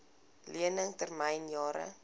lening termyn jare